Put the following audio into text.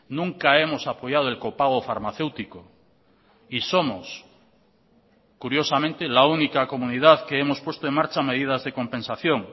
nunca hemos apoyado el copago farmacéutico y somos curiosamente la única comunidad que hemos puesto en marcha medidas de compensación